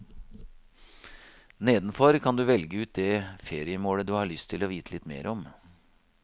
Nedenfor kan du velge ut det feriemålet du har lyst å vite litt mer om.